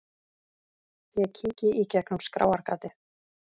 Ég kíki í gegnum skráargatið.